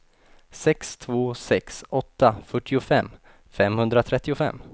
sex två sex åtta fyrtiofem femhundratrettiofem